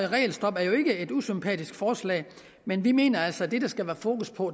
regelstop er jo ikke et usympatisk forslag men vi mener altså at det der skal være fokus på